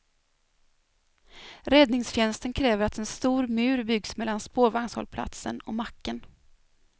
Räddningstjänsten kräver att en stor mur byggs mellan spårvagnshållplatsen och macken.